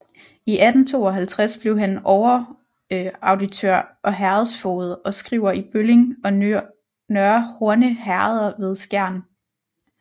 I 1852 blev han overauditør og herredsfoged og skriver i Bølling og Nørre Horne Herreder ved Skjern